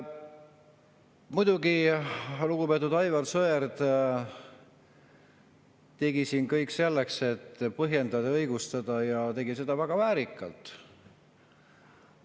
Muidugi, lugupeetud Aivar Sõerd tegi siin kõik selleks, et seda põhjendada ja õigustada, ja tegi seda väga väärikalt.